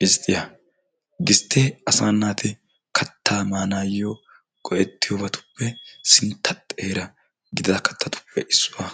Gisttiya, gistte asa naati katta maanawu go"etiyoobatuppe sintta xeeraa gididi kattatuppe issuwaa.